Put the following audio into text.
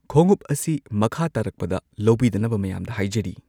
ꯈꯣꯡꯎꯞ ꯑꯁꯤ ꯃꯈꯥ ꯇꯥꯔꯛꯄꯗ ꯂꯧꯕꯤꯗꯅꯕ ꯃꯌꯥꯝꯗ ꯍꯥꯏꯖꯔꯤ